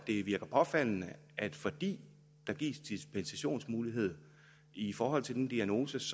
det virker påfaldende at fordi der gives dispensationsmulighed i forhold til den diagnose